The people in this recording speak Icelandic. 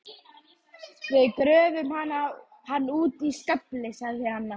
Við gröfum hann úti í skafli sagði Anna.